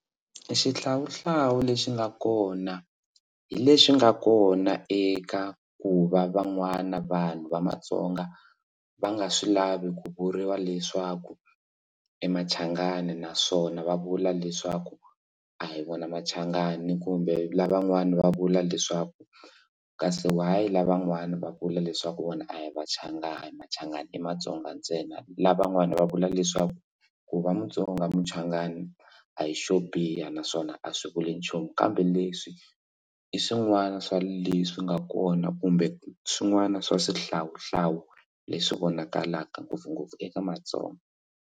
Xihlawuhlawu lexi nga kona hi leswi nga kona eka ku va van'wana vanhu va matsonga va nga swi lavi ku vuriwa leswaku i machangani naswona va vula leswaku a hi vona machangani kumbe lavan'wana va vula leswaku kasi why lavan'wana va vula leswaku vona a hi machangani machangani i matsonga ntsena lavan'wana va vula leswaku ku va mutsonga muchangani a hi xo biha naswona a swi vuli nchumu kambe leswi i swin'wana swa leswi nga kona kumbe swin'wana swa swihlawuhlawu leswi vonakalaka ngopfungopfu eka matsonga.